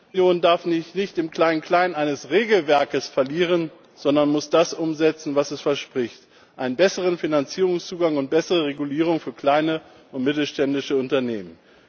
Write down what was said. Die Kapitalmarktunion darf sich nicht im Kleinklein eines Regelwerkes verlieren, sondern muss das umsetzen, was sie verspricht einen besseren Finanzierungszugang und bessere Regulierung für kleine und mittelständische Unternehmen.